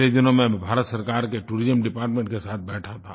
पिछले दिनों मैं भारत सरकार के टूरिज्म डिपार्टमेंट के साथ बैठा था